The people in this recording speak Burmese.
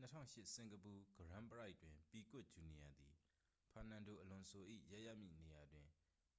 2008 စင်ကာပူ ဂရန်းပရိုက်တွင် ပီကွတ် ဂျူနီယာသည် ဖာနန်ဒိုအလွန်ဆို၏ ရပ်ရမည့်နေရာတွင်